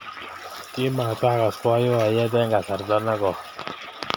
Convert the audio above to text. Ki ma takas boiboiyet eng kasarta ne koi